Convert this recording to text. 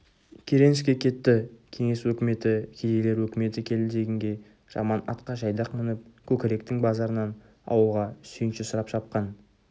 керенский кетті кеңес өкіметі кедейлер өкіметі келді дегенге жаман атқа жайдақ мініп көкіректің базарынан ауылға сүйінші сұрап шапқан